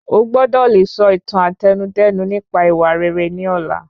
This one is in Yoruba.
O gbọ́dọ̀ le sọ ìtàn Àtẹnudẹ́nu nípa ìwà rere ni ọ̀la.